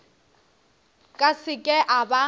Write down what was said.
ka se ke a ba